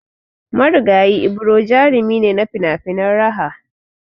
Marigayi Ibro jarumi ne na finafinan raha